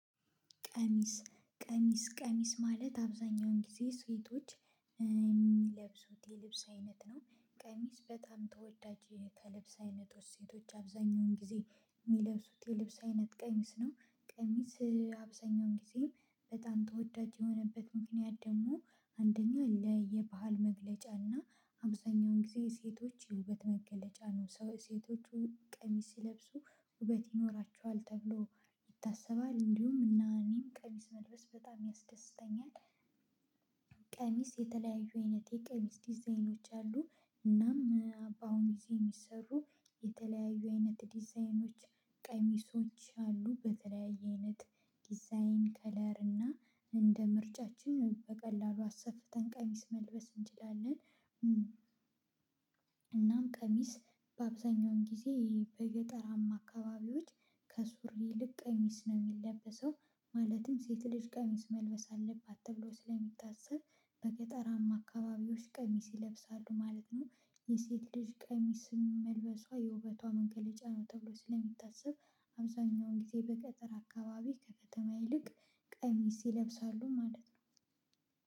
ቀሚስ ቀሚስ ቀሚስ ማለት አብዛኛውን ጊዜ ስፌቶች የሚለብሱት የልብስ አይነት ነው። ቀሚስ በጣም ተወዳጅ ከልብስ አይነቶች ሴቶች አብዛኛውን ጊዜ የሚለብሱት የልብስ አይነት ቀሚስ ነው። ቀሚስ አብዛኛውን ጊዜ በጣም ተወዳጅ የሆነበት ምክንያት ደግሞ አንደኛ ለየባህል መግለጫ እና አብዛኛውን ጊዜ ሴቶች የውበት መገለጫ ነው ሴቶቹ ቀሚስ ሲለብሱ ውበት ይኖራቸዋል ተብሎ ይታሰባል እንዲሁም እና እኔም ቀሚስ መልበስ በጣም ያስደስተኛል። ቀሚስ የተለያዩ አይነት የቀሚስ ዲዛይኖች አሉ። እናም በአሁኑ ጊዜ የሚሰሩ የተለያዩ አይነት ዲዛይኖች ቀሚሶች አሉ በተለያየ አይነት ዲዛይን ከለር እና እንደ ምርጫችን በቀላሉ አሰፍተን ቀሚስ መልበስ እንችላለን። እናም ቀሚስ በአብዛኛውን ጊዜ በገጠራማ አካባቢዎች ከሱሪ ይልቅ ቀሚስ ነው የሚለበሰው ማለትም ሴት ልጅ ቀሚስ መልበስ አለባት ተብሎ ስለሚታሰብ በገጠራማ አካባቢዎች ቀሚስ ይለብሳሉ ማለት ነው። የሴት ልጅ ቀሚስን መልበሷ የውበቷ መገለጫ ነው ተብሎ ስለሚታሰብ አብዛኛውን ጊዜ በገጠር አካባቢ ከከተማ ይልቅ ቀሚስ ይለብሳሉ ማለት ነው።